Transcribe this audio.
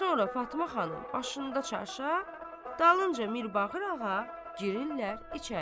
Sonra Fatma xanım başında çarşaf, dalınca Mirbağır ağa girirlər içəri.